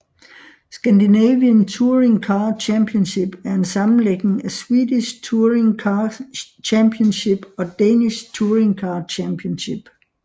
Scandinavian Touring Car Championship er en sammenlægning af Swedish Touring Car Championship og Danish Touringcar Championship